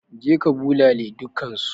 Je ka bulale dukkansu!